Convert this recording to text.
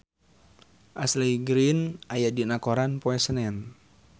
Ashley Greene aya dina koran poe Senen